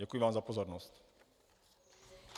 Děkuji vám za pozornost.